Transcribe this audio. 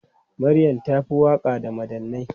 Maryam ta fi waka da madannai.